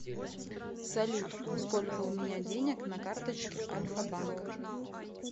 салют сколько у меня денег на карточке альфабанк